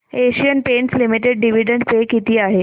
Asian Paints Limited dividend पे किती आहे